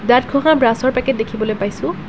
দাঁত ঘহা ব্ৰাছৰ পেকেট দেখিবলৈ পাইছোঁ।